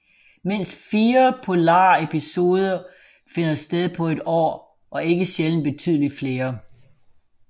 Mindst fire bipolare episoder finder sted på et år og ikke sjældent betydeligt flere